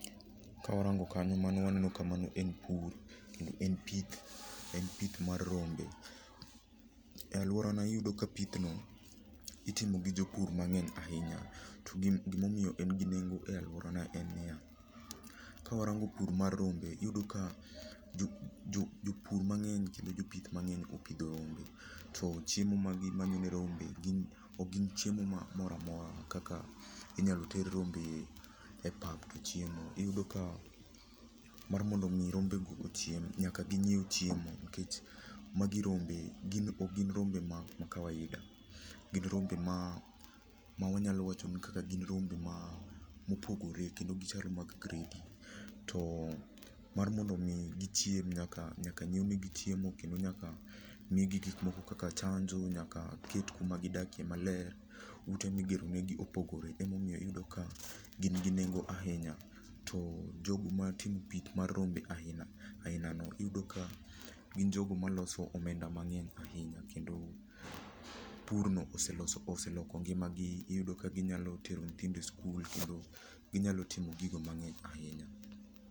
Kawarango kanyo mano waneno ka mano en pur kendo en pith, en pith mar rombe. E aluorana iyudo ka pithno itimo gi jopur mang'eny ahinya. To gima omiyo en gi nengo e aluorana en niya, kawarango pur mar rombe iyudo ka jopur mang'eny kendo jopith mang'eny opidho rombe to chiemo ma gimanyo ne rombe ok gin chiemo moro amora kaka inyalo ter rombe e pap to chiemo. Iyudo ka mar mondo mi rombego ochiem nyaka ginyiew chiemo nikech magi rombe, ok gin rombe ma kawaida gin rombe ma wanyalo wacho ni gin mopogore kendo gichalo mag gredi. Mar mondo mi gichiem nyaka nyiewnigi chiemo kendo nyaka migi gik moko kaka chanjo, nyaka ket kuma gidakie maler. Ute migero negi opogore emomiyo iyudo ka gin gi nengo ahinya to jogo matimo pith mar rombe ainago iyudo ka gin jogo maloso omenda mang'eny ahinya kendo purno oseloko ngimagi, iyudo ka ginyalo tero nyithindo sikul kendo ginyalo timo gigo mang'eny ahinya.